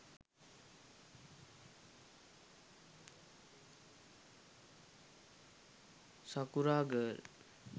sakura girl